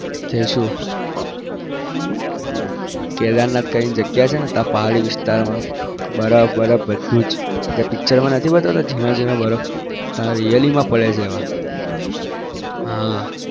જઈશું કેદારનાથ કરીને જગ્યા છે ને ત્યાં પહાડી વિસ્તારમાં બરફ બરફ બધું જ જે picture માં નથી બતાવતા જીણા જીણા બરફ ત્યાં really માં પડે છે એવા. હા